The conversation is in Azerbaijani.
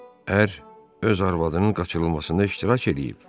Ər öz arvadının qaçırılmasında iştirak eləyib.